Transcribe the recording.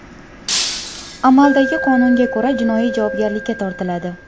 Amaldagi qonunga ko‘ra jinoiy javobgarlikka tortiladi.